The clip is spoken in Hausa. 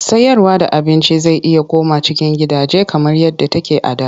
Sayarda abinci zai iya komawa cikin gidaje kamar yadda take a da.